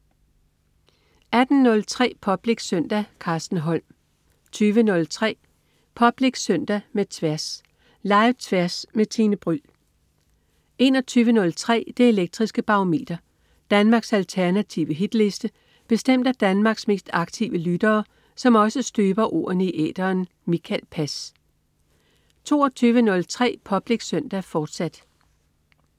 18.03 Public Søndag. Carsten Holm 20.03 Public Søndag med Tværs. Live-Tværs med Tine Bryld 21.03 Det elektriske Barometer. Danmarks alternative hitliste bestemt af Danmarks mest aktive lyttere, som også støber ordene i æteren. Mikael Pass 22.03 Public Søndag, fortsat